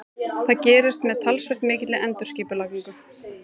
Það gerist með talsvert mikilli endurskipulagningu.